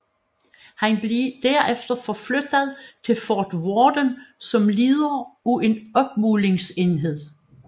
Han blev derefter forflyttet til Fort Worden som leder af en opmålingsenhed